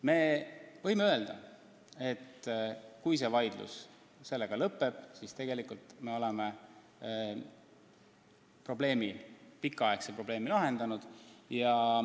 Me võime öelda, et kui see vaidlus sellega lõpeb, siis me oleme ühe pikaaegse probleemi lahendanud.